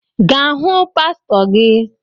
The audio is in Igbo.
Gaa hụ pastor gị